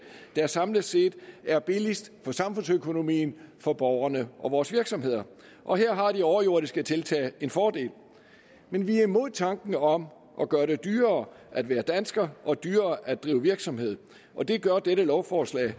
der samlet set er billigst for samfundsøkonomien for borgerne og for vores virksomheder og her har de overjordiske tiltag en fordel men vi er imod tanken om at gøre det dyrere at være dansker og dyrere at drive virksomhed og det gør dette lovforslag